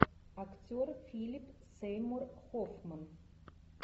актер филип сеймур хоффман